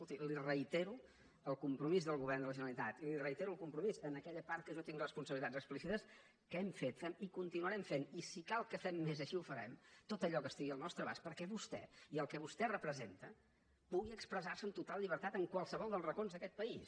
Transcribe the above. escolti li reitero el compromís del govern de la generalitat li reitero el compro mís en aquella part en què jo tinc responsabilitats explícites que hem fet fem i continuarem fent i si cal que fem més així ho farem tot allò que estigui al nostre abast perquè vostè i el que vostè representa pugui expressar se amb total llibertat en qualsevol dels racons d’aquest país